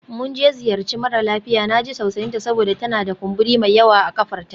Mun je ziyarci mara lafiya, na ji tausayinta saboda tana da kumburi mai yawa a ƙafarta.